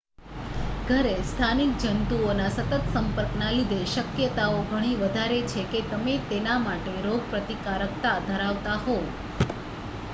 ઘરે સ્થાનિક જંતુઓના સતત સંપર્ક ના લીધે શક્યતાઓ ઘણી વધારે છે કે તમે તેના માટે રોગ પ્રતિકારકતા ધરાવતા હોવ